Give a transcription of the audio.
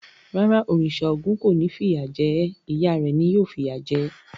Rárá, òrìṣà Ògún kò ni ó fìyà jẹ ẹ́. Ìyá rẹ̀ ni ó fìyà jẹ̀ ẹ́.